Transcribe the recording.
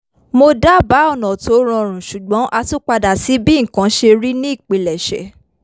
mo dábáà ọ̀nà tó rọrùn ṣùgbọ́n a tún padà sí bí nǹkan ṣe rí ní ìpilẹ̀ṣẹ̀